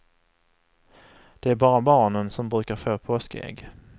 Det är bara barnen som brukar få påskägg.